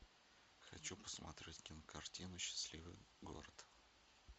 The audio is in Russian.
хочу посмотреть кинокартину счастливый город